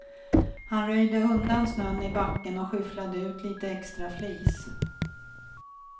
Han röjde undan snön i backen och skyfflade ut lite extra flis.